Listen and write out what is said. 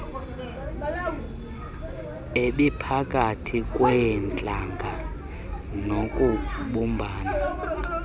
ebiphakathi kweentlanga nokubumbana